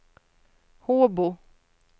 Håbo